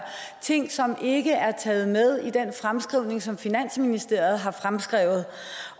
ting som ikke er taget med i den fremskrivning som finansministeriet